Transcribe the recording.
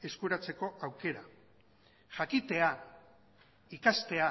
eskuratzeko aukera jakitea ikastea